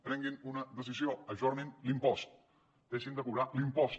prenguin una decisió ajornin l’impost deixin de cobrar l’impost